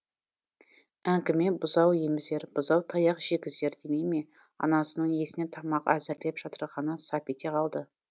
әңгіме бұзау емізер бұзау таяқ жегізер демей ме анасының есіне тамақ әзірлеп жатырғаны сап ете қалды